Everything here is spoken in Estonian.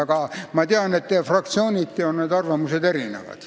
Aga ma tean, et fraktsiooniti on need arvamused erinevad.